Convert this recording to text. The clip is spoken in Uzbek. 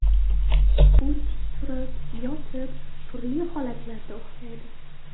U tik turib, yotib, turli holatlarda uxlaydi.